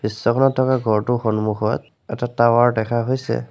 দৃশ্যখনত থকা ঘৰটোৰ সম্মুখত এটা টাৱাৰ দেখা হৈছে।